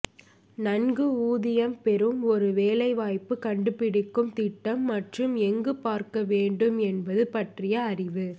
நன்கு ஊதியம் பெறும் ஒரு வேலைவாய்ப்பு கண்டுபிடிக்கும் திட்டம் மற்றும் எங்கு பார்க்க வேண்டும் என்பது பற்றிய அறிவு